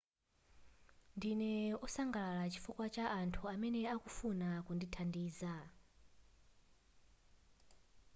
ndine wosangalala chifukwa cha anthu amene akufuna kundithandiza